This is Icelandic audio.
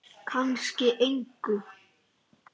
Kannski engu.